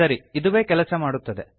ಸರಿ ಇದುವೇ ಕೆಲಸ ಮಾಡುತ್ತದೆ